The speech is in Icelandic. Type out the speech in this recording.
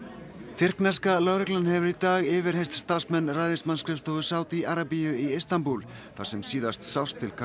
tyrkneska lögreglan hefur í dag yfirheyrt starfsmenn ræðismannsskrifstofu Sádí Arabíu í Istanbúl þar sem síðast sást til